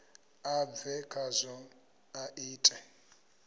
a bve khazwo a ite